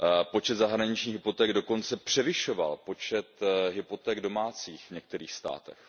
Počet zahraničních hypoték dokonce převyšoval počet hypoték domácích v některých státech.